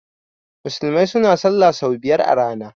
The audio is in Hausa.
musulmai suna sallah sau biyar a rana